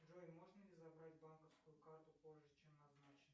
джой можно ли забрать банковскую карту позже чем назначено